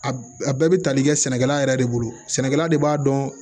A bɛɛ bɛ tali kɛ sɛnɛkɛla yɛrɛ de bolo sɛnɛkɛla de b'a dɔn